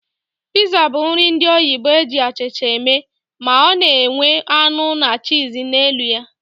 Piza bụ nri ndị oyibo eji achịcha eme, ma ọ na enwe anụ na cheese na elu ya